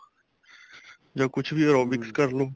ਜਾਂ ਕੁੱਛ ਵੀ aerobic ਕਰਲੋ